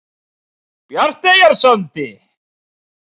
Bjarteyjarsandi